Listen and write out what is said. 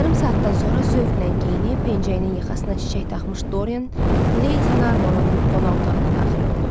Yarım saatdan sonra zövqlə geyinib, pencəyinin yaxasına çiçək taxmış Dorian, Lady Narborun qonaq otağına daxil oldu.